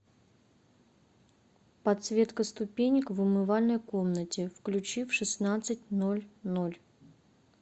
подсветка ступенек в умывальной комнате включи в шестнадцать ноль ноль